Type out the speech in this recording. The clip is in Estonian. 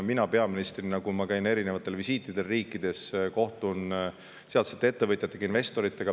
Mina peaministrina käin visiitidel eri riikides ning kohtun ettevõtjate ja investoritega.